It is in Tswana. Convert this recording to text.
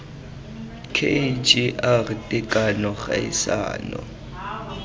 k g r tekano kgaisano